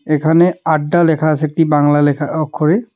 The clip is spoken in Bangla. এখানে আড্ডা লেখা আছে একটি বাংলা লেখা অক্ষরে .